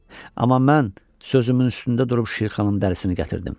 Amma mən sözümün üstündə durub Şirxanın dərisini gətirdim.